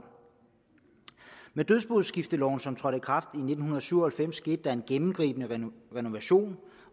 med dødsboskifteloven som trådte i kraft i nitten syv og halvfems skete der en gennemgribende renovation